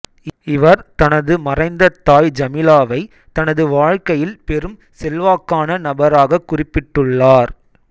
இவர் தனது மறைந்த தாய் ஜமீலாவை தனது வாழ்க்கையில் பெரும் செல்வாக்கான நபராகக் குறிப்பிட்டுள்ளார்